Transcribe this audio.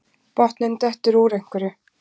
Botninn dettur úr einhverju